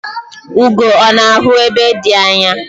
Ugo ọ̀ na-ahụ ebe dị anya?